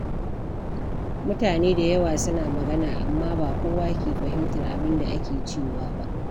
Mutane da yawa suna magana, amma ba kowa ke fahimtar abin da ake cewa ba.